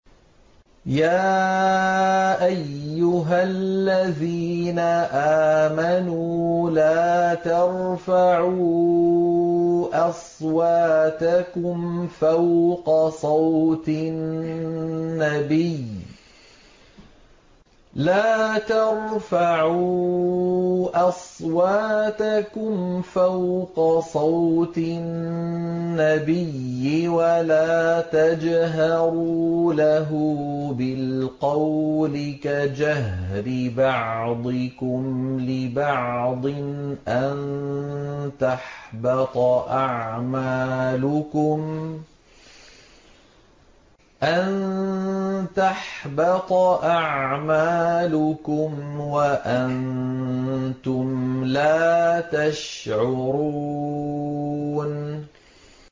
يَا أَيُّهَا الَّذِينَ آمَنُوا لَا تَرْفَعُوا أَصْوَاتَكُمْ فَوْقَ صَوْتِ النَّبِيِّ وَلَا تَجْهَرُوا لَهُ بِالْقَوْلِ كَجَهْرِ بَعْضِكُمْ لِبَعْضٍ أَن تَحْبَطَ أَعْمَالُكُمْ وَأَنتُمْ لَا تَشْعُرُونَ